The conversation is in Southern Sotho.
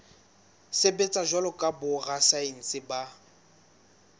sebetsa jwalo ka borasaense ba